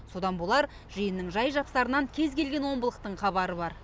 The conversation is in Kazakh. содан да болар жиынның жай жапсарынан кез келген омбылықтың хабары бар